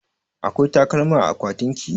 Akwai takalma a akwatinki?